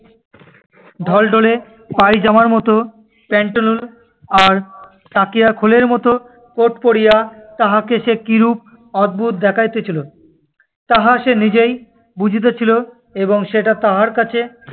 ঢলঢলে পায়জামার মতো পেন্টালুন আর তাকিয়ার খোলের মত coat পরিয়া তাহাকে যে কিরূপ অদ্ভুত দেখাইতেছিল, তাহা সে নিজেই বুঝিতেছিল এবং সেটা তাহার কাছে-